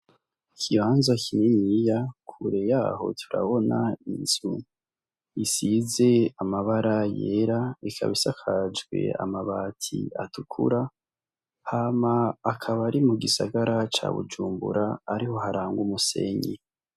Ikibanza kininiya kure yaho turabona inzu isize amabara yera ikaba isakajwe amabati atukura hama akaba ari mu gisagara ca bujumbura ariho haranga umusenyi.